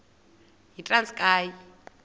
yitranskayi